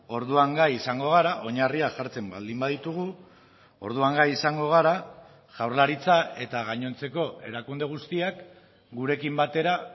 orduan gai izango gara oinarriak jartzen baldin baditugu orduan gai izango gara jaurlaritza eta gainontzeko erakunde guztiak gurekin batera